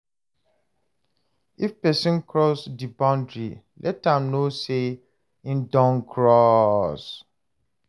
If person cross di boundry, let am know sey im don cross